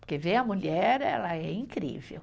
Porque ver a mulher, ela é incrível.